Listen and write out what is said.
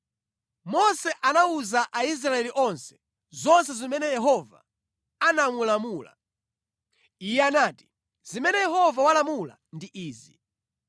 Mose anawuza Aisraeli onse zonse zimene Yehova anamulamula. Iye anati, “Zimene Yehova walamula ndi izi: